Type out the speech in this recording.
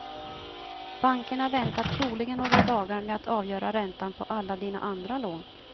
Bankerna väntar troligen några dagar med att avgöra räntan på alla dina andra lån.